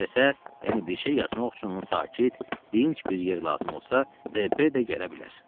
İstəsə, yəni bir şey yazmaq üçün ona sakit, dinc bir yer lazım olsa, D.P. də gələ bilər.